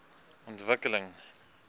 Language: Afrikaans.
ontwikkeling